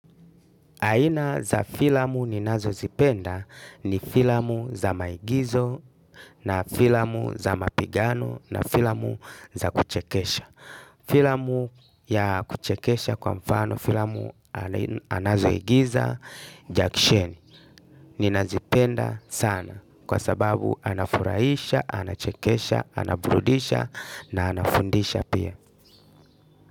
Aina za filamu ninazozipenda ni filamu za maigizo na filamu za mapigano na filamu za kuchekesha. Filamu ya kuchekesha kwa mfano filamu anazoigiza Jack Chani. Ninazipenda sana kwa sababu anafurahisha, anachekesha, anaburudisha na anafundisha pia.